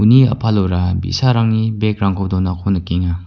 uni a·palora bi·sarangni bag-rangko donako nikenga.